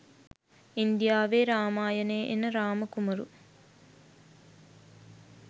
ඉන්දියාවේ රාමායනේ එන රාම කුමරු